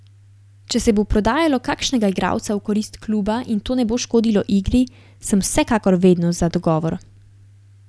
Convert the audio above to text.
Če se bo prodajalo kakšnega igralca v korist kluba in to ne bo škodilo igri, sem vsekakor vedno za dogovor.